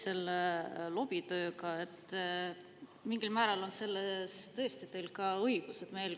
Selle lobitöö puhul on teil tõesti mingil määral õigus.